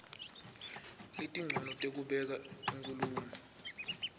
letincono tekubeka inkhulumo